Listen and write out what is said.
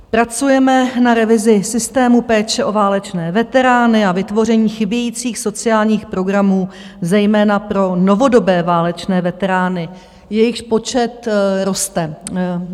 Pracujeme na revizi systému péče o válečné veterány a vytvoření chybějících sociálních programů zejména pro novodobé válečné veterány, jejichž počet roste.